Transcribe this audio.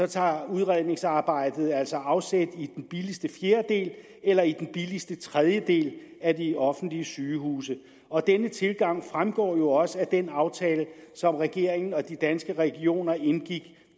tager udredningsarbejdet altså afsæt i den billigste fjerdedel eller i den billigste tredjedel af de offentlige sygehuse og denne tilgang fremgår jo også af den aftale som regeringen og danske regioner indgik